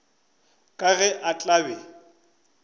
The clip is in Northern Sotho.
ka ge a tla be